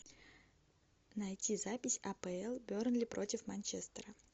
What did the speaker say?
найти запись апл бернли против манчестера